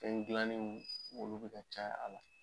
Fɛn gilanni nun olu bɛ ka caya a la.